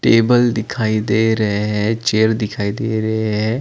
Table दिखाई दे रहे है चेयर दखाई दे रहे है ।